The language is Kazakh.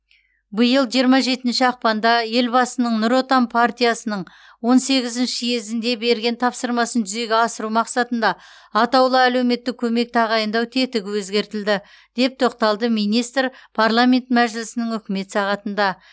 биыл жиырма жетінші ақпанда елбасының нұр отан партиясының он сегізінші съезінде берген тапсырмасын жүзеге асыру мақсатында атаулы әлеуметтік көмек тағайындау тетігі өзгертілді деп тоқталды министр парламент мәжілісінің үкімет сағатында